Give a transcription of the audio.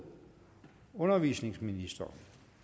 undervisningsministeren